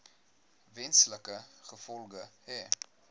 wesenlike gevolge hê